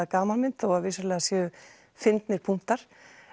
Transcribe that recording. gamanmynd þó að vissulega séu fyndnir punktar